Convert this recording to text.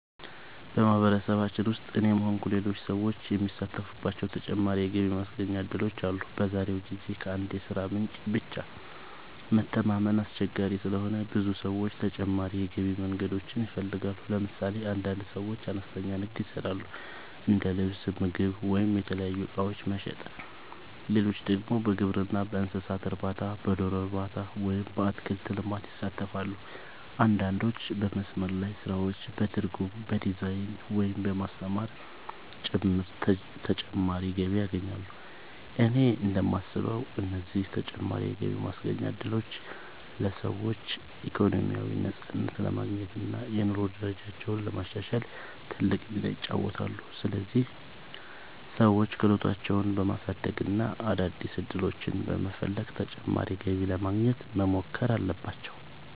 በማህበረሰባችን ውስጥ እኔም ሆንኩ ሌሎች ሰዎች የሚሳተፉባቸው ተጨማሪ የገቢ ማስገኛ እድሎች አሉ። በዛሬው ጊዜ ከአንድ የሥራ ምንጭ ብቻ መተማመን አስቸጋሪ ስለሆነ ብዙ ሰዎች ተጨማሪ የገቢ መንገዶችን ይፈልጋሉ። ለምሳሌ አንዳንድ ሰዎች አነስተኛ ንግድ ይሰራሉ፤ እንደ ልብስ፣ ምግብ ወይም የተለያዩ እቃዎች መሸጥ። ሌሎች ደግሞ በግብርና፣ በእንስሳት እርባታ፣ በዶሮ እርባታ ወይም በአትክልት ልማት ይሳተፋሉ። አንዳንዶች በመስመር ላይ ስራዎች፣ በትርጉም፣ በዲዛይን፣ ወይም በማስተማር ጭምር ተጨማሪ ገቢ ያገኛሉ። እኔ እንደማስበው እነዚህ ተጨማሪ የገቢ ማስገኛ እድሎች ለሰዎች ኢኮኖሚያዊ ነፃነት ለማግኘት እና የኑሮ ደረጃቸውን ለማሻሻል ትልቅ ሚና ይጫወታሉ። ስለዚህ ሰዎች ክህሎታቸውን በማሳደግ እና አዳዲስ ዕድሎችን በመፈለግ ተጨማሪ ገቢ ለማግኘት መሞከር አለባቸው።